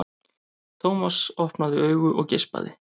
Thomas opnaði augun og geispaði.